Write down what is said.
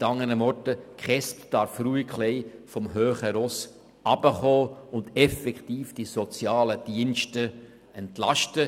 Mit anderen Worten: Die KESB darf ruhig etwas vom hohen Ross herunterkommen und die Sozialdienste effektiv entlasten.